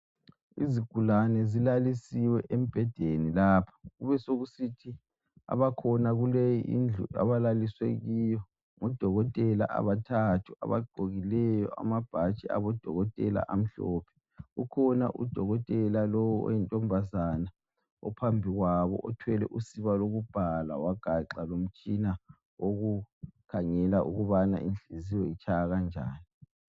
Izigulane zilalisiwe embhedeni lapha kubesokusithi abakhona kuleyi indlu abalaliswe kiyo, ngudokotela abathathu abagqokileyo amabhatshi abodokotela amhlophe. Kukhona udokotela lowu oyintombazana ophambi kwabo uthwele usiba lokubhala wagaxa lomtshina owoku khangela ukubana inhliziyo zitshaya kanjani.